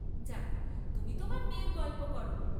যাক্, তুমি তোমার মেয়ের গল্প কর।